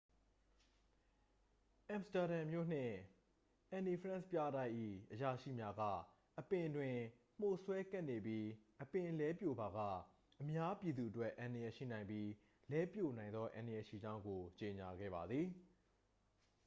အမ်စတာဒမ်မြို့နှင့် အန်နီဖရန့်ပြတိုက်၏ အရာရှိများက အပင်တွင် မှိုစွဲကပ်နေပြီး အပင်လဲပြိုကျပါက အများပြည်သူအတွက် အန္တရာယ်ရှိနိုင်ပြီး လဲပြိုနိုင်သောအန္တရာယ်ရှိကြောင်းကို ကြေညာခဲ့ပါသည်